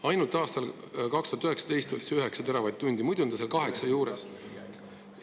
Ainult aastal 2019 oli see 9 teravatt-tundi, muidu on ta olnud 8 teravatt-tunni juures.